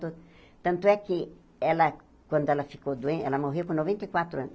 Tan tanto é que, ela quando ela ficou doen, ela morreu com noventa e quatro anos.